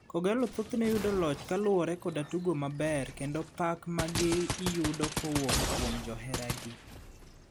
kOgallo thothne yudo loch kaluwore koda tugo maber kendo pak ma gi yudo kowuok kuom johera gi,